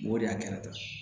N go de y'a kɛra